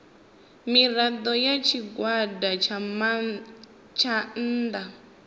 mirado ya tshigwada tsha nnda